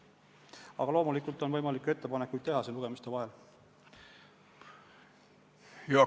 Aga loomulikult on võimalik teha lugemiste vahel ettepanekuid.